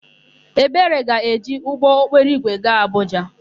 Ebere ga-eji ụgbọokporoigwe gaa Abụja.